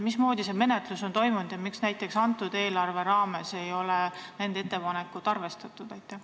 Mismoodi see menetlus on toimunud ja miks ei ole selle eelarve raames nende ettepanekuid arvestatud?